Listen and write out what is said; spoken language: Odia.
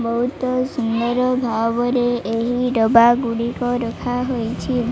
ବହୁତ ସୁନ୍ଦର ଭାବରେ ଏହି ଡବାଗୁଡ଼ିକ ରଖାହୋଇଛି।